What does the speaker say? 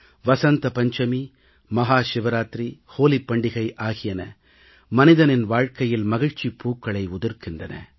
வசந்த பஞ்சமி மஹாசிவராத்திரி ஹோலிப் பண்டிகை ஆகியன மனிதனின் வாழ்க்கையில் மகிழ்ச்சிப் பூக்களை உதிர்க்கின்றன